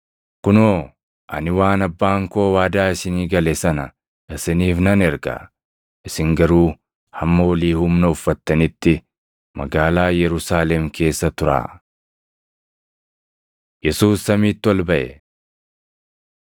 Kunoo ani waan Abbaan koo waadaa isinii gale sana isiniif nan erga; isin garuu hamma olii humna uffattanitti magaalaa Yerusaalem keessa turaa.” Yesuus Samiitti Ol Baʼe